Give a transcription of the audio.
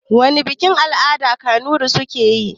Wana bikin-al'ada kunurai suke yi?